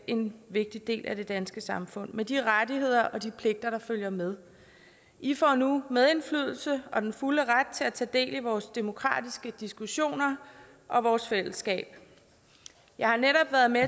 en vigtig del af det danske samfund med de rettigheder og de pligter der følger med i får nu medindflydelse og den fulde ret til at tage del i vores demokratiske diskussioner og vores fællesskab jeg har netop været med